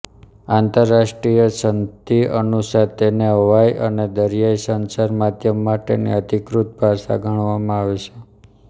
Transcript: આંતરરાષ્ટ્રીય સંધિ અનુસાર તેને હવાઇ અને દરિયાઇ સંચાર માધ્યમ માટેની અધિકૃત ભાષા ગણવામાં આવે છે